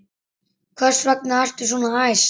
Hvers vegna ertu svona æst?